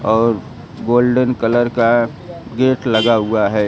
और golden colour का gate लगा हुआ है।